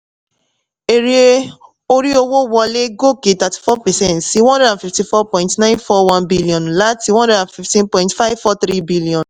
èrè orí owó wọlé gòkè thirty-four percent sí one hundred and fifty-four point nine four one billion láti one hundred and fifteen point five four three billion